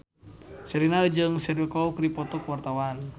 Sherina jeung Cheryl Crow keur dipoto ku wartawan